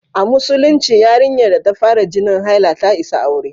A Musulunci, yarinyar da ta fara jinin haila ta isa aure.